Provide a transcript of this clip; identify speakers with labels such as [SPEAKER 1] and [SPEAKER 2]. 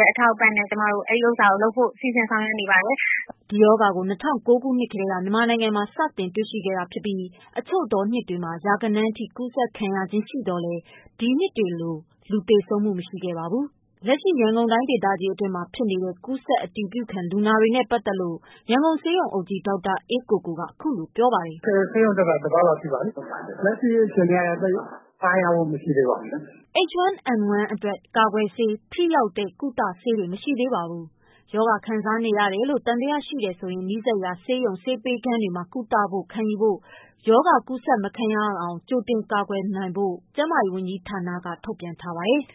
[SPEAKER 1] ရဲ့အထောက်အပံ့နဲ့ ကျမတို့ ဒီဟာကို လုပ်ဖို့ စီစဉ်ဆောင်ရွက်နေပါတယ်။” ဒီရောဂါကို၂၀၀၉ ခုနှစ်ကတည်း မြန်မ
[SPEAKER 2] ာပြည်တွင် စတင်တွေ့ရှိရခြင်းဖြစ်ပြီး အချို့သောနှစ်များတွင် ရာဂဏန်းအထိ ကူးစက်ခံ ရခြင်း ရှိသော်လည်း ဒီနှစ်တွေလို လူသေဆုံးမှုမရှိခဲ့ပါဘူး။ လက်ရှိ ရန်ကုန်တိုင်းဒေသကြီးတွင်းမှာ ဖြစ်နေတဲ့ ကူးစက်အတည်ပြု ခံ လူနာတွေနဲ့ပတ်သတ်လို့ ရန်ကုန်ဆေးရုံအုပ်ကြီး ဒေါက်တာ အေးကိုကိုကခုလိုပြောပြပါတယ်။. “ဆေးရုံတ
[SPEAKER 1] က်တာ ၁ ပတ်လောက်ရှိပါပြီ၊ လက်ရှိအခြေအနေ
[SPEAKER 2] ကတော့ သိပ်ပြီးအားရမှုတော့ မရှိသေးပါဘူး။” H1N1 အတွက် ကာကွယ်ဆေး၊ ထိရောက်သောကုသဆေးများ မရှိသေးပါဘူး။ ရောဂါခံစားနေရတယ်လို့ သံသယရှိရင် နီးစပ်ရာ ဆေးရုံဆေးခန်းများတွင် ကုသမှုခံယူဖို့၊ ရောဂါကူးစက်မခံရဖို့ ကြိုတင်ကာကွယ်နိုင်ဖို့ ကျန်းမာရေးဝန်ကြီးဌာနက ထုတ်ပြန်ထား ပါတယ်။